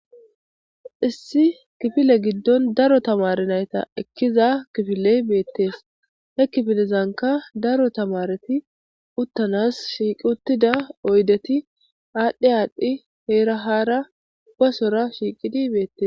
issi kifile giddon daro tamare nayta ekkiza kifiley beettees he kifilezanka daro tamareti uttanas shiiqi uttida oydeti aadhdhe aadhdhi heera haara basora shiiqidi beettes